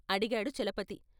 " అడిగాడు చలపతి.